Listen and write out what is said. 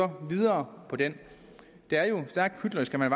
videre på den det er jo stærkt hyklerisk at man